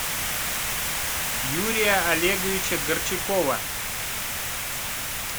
юрия олеговича горчакова